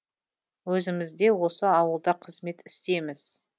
өзіміз де осы ауылда қызмет істейміз